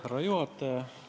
Härra juhataja!